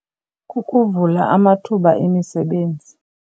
Kukuvula amathuba emisebenzi.